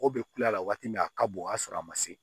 Mɔgɔ bɛ kule a la waati min a ka bon o y'a sɔrɔ a ma se